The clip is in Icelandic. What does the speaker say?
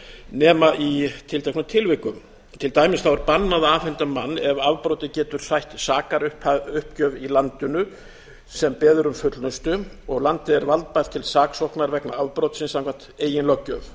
nema í tilteknum tilvikum til dæmis er bannað að afhenda mann ef afbrotið getur sætt sakaruppgjöf í landinu sem beðið er um fullnustu og landið er valdbært til saksóknar vegna afbrotsins samkvæmt eigin löggjöf